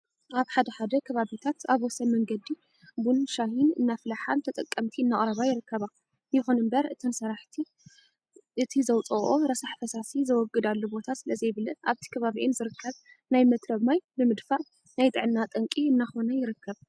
ኣብ ሓደ ሓደ ከባቢታ ኣብ ወሰን መንገዲ ቡን፣ ሻሂን እናፍልሓ ንተጠቀምቲ እናቅረባ ይርከባ። ይኹንእምበር እተን ሰራሕቲ እቲ ዘውፅኦኦ ረሳሕ ፈሳሲ ዘወግዳሉ ቦታ ስለዘይብለን ኣብቲ ከባቢአን ዝርከብ ናይ መትረብ ማይ ብምድፋእ ናይ ጥዕና ጠንቂ እናኾነ ይርከብ።